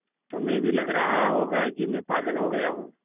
तुम्हें भी लग रहा होगा कि मैं पागल हो गया हूँ